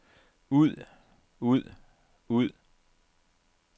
ud ud ud